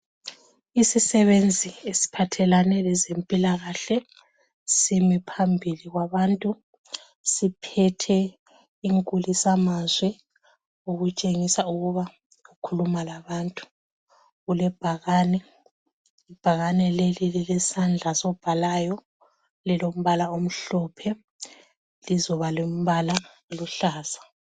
Isisebenzi esiphathelane lezempilakahle simi phambili kwabantu, siphethe inkulisamazwi okutshengisa ukuba ukhuluma labantu. Kulebhakane, ibhakane leli lilesandla sobhalayo lilombala omhlophe lizoba lombala oluhlaza.